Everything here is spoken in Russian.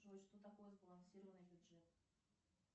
джой что такое сбалансированный бюджет